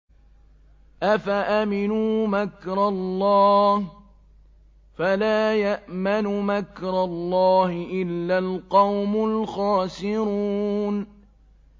أَفَأَمِنُوا مَكْرَ اللَّهِ ۚ فَلَا يَأْمَنُ مَكْرَ اللَّهِ إِلَّا الْقَوْمُ الْخَاسِرُونَ